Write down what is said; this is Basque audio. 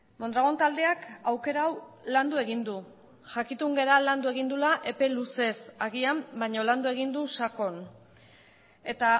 mondragon taldeak aukera hau landu egin du jakitun gara landu egin duela epe luzez agian baina landu egin du sakon eta